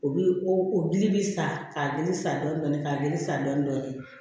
O bi o gili bi sa k'a dili san dɔɔni dɔɔni ka dili sa dɔɔni dɔɔni